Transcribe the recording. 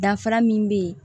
Danfara min bɛ yen